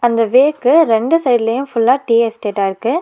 அந்த வேக்கு ரெண்டு சைடுலையும் ஃபுல்லா டீ எஸ்டேட்டா இருக்கு.